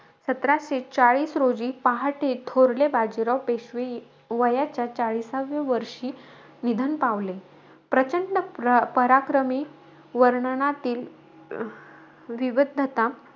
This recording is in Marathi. सतराशे चाळीस रोजी, पहाटे, थोरले बाजीराव पेशवे वयाच्या चाळीसाव्या वर्षी, निधन पावले. प्रचंड प्र पराक्रमी वर्णनातील विविधता,